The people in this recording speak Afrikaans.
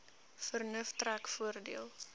vernuf trek voordeel